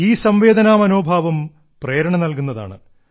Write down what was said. ഈ സംവേദനാ മനോഭാവം പ്രേരണ നൽകുന്നതാണ്